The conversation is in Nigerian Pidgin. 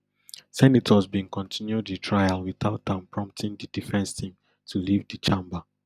senators bin continue di trial witout am prompting di defence team to leave di chamber